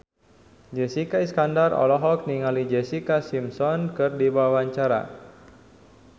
Jessica Iskandar olohok ningali Jessica Simpson keur diwawancara